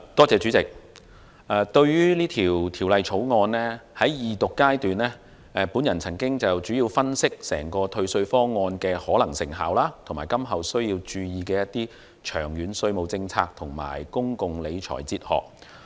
主席，對於《2019年稅務條例草案》，在二讀階段，我曾經主要分析整個退稅方案的可能成效及今後需要注意的長遠稅務政策和公共理財哲學。